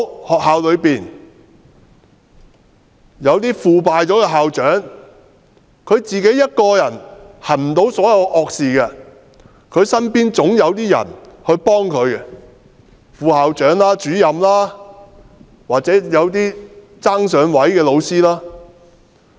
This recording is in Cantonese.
學校內有些腐敗的校長，但他一個人不能行所有惡事，身邊總有些人幫助他，例如副校長、主任或一些"爭上位"的老師。